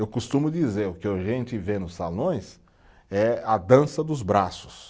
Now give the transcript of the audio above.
Eu costumo dizer, o que a gente vê nos salões é a dança dos braços.